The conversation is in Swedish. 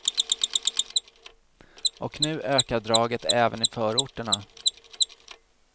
Och nu ökar draget även i förorterna.